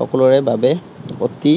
সকলোৰে বাবে অতি